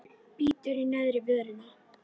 Bítur í neðri vörina.